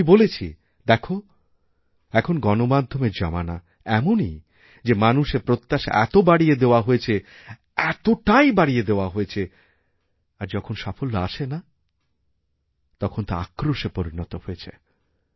আমি বলেছিদেখ এখন গণমাধ্যমের জমানা এমনই যে মানুষের প্রত্যাশা এত বাড়িয়ে দেওয়া হয়েছে এতবাড়িয়ে দেওয়া হয়েছে আর যখন সাফল্য আসে না তখন তা আক্রোশে পরিণত হয়ে যায়